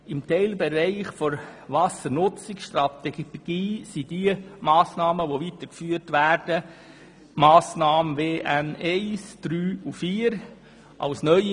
Im Teilbereich der Wassernutzungsstrategie sind WN-1, WN-3 und WN-4 weiterzuführende Massnahmen und WN-2 und WN-5 neue.